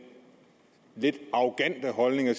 lidt arrogante holdning at